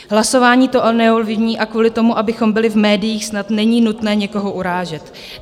Hlasování to neovlivní a kvůli tomu, abychom byli v médiích, snad není nutné někoho urážet.